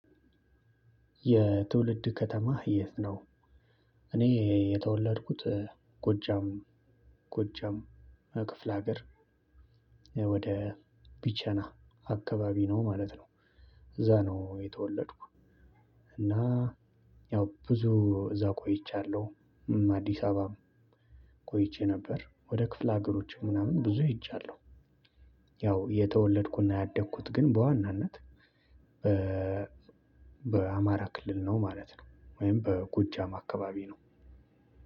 የትውልድ ከተማ የት ነው? እኔ የተወለድኩት ጎጃም ጎጃም ክፍለ ሀገር ወደ ቢቸና አካባቢ ነው ማለት ነው። እዛ ነው የተወለድኩ። እና ያው ብዙ እዛ ቆይችያለው። አዲስ አበባም ቆይቼ ነበር ወደ ክፍለ ሀገሮች ምናምን ብዙ ሄጃለሁ። ያው የተወለድኩና ያደግኩት ግን በዋናነት በአማራ ክልል ነው ማለት ነው። ወይም በጎጃም አካባቢ ነው።